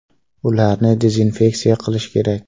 Ularni dezinfeksiya qilish kerak”.